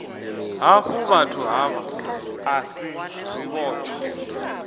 hafhuvhathu havha a si zwivhotshwa